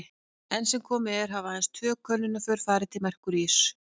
Enn sem komið er hafa aðeins tvö könnunarför farið til Merkúríuss.